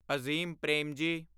Azim Premji